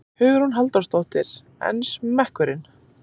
Hugrún Halldórsdóttir: En smekkurinn?